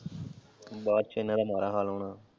ਬਾਅਦ ਚ ਇਹਨਾਂ ਦਾ ਮਾੜਾ ਹਾਲ ਹੋਣਾ।